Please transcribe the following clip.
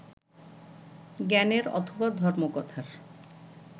জ্ঞানের অথবা ধর্মকথার